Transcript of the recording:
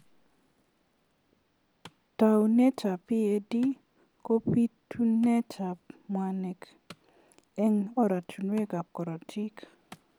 Tounet ab PAD ko bitunet ab mwanik engnoratunwek ab karotik.